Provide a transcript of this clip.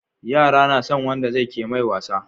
Yara nason wanda zai ke mai wasa